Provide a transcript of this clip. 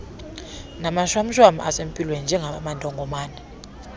namashwamshwam asempilweni njengamantongomane